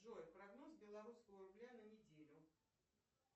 джой прогноз белорусского рубля на неделю